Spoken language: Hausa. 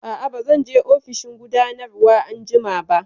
Aa, ba zan je ofishin gudanarwa anjima ba